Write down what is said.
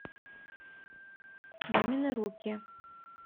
мамины руки